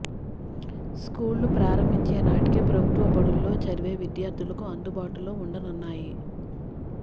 స్కూళ్లు ప్రారంభించే నాటికి ప్రభుత్వ బడుల్లో చదివే విద్యార్థులకు అందుబాటులో ఉండనున్నాయి